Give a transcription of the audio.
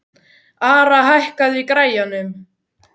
Ara, hækkaðu í græjunum.